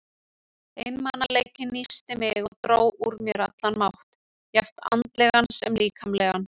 Einmanaleikinn nísti mig og dró úr mér allan mátt, jafnt andlegan sem líkamlegan.